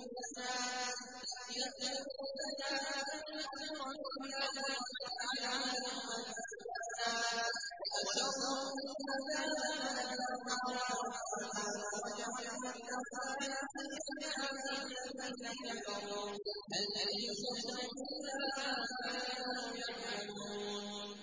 إِذْ تَأْمُرُونَنَا أَن نَّكْفُرَ بِاللَّهِ وَنَجْعَلَ لَهُ أَندَادًا ۚ وَأَسَرُّوا النَّدَامَةَ لَمَّا رَأَوُا الْعَذَابَ وَجَعَلْنَا الْأَغْلَالَ فِي أَعْنَاقِ الَّذِينَ كَفَرُوا ۚ هَلْ يُجْزَوْنَ إِلَّا مَا كَانُوا يَعْمَلُونَ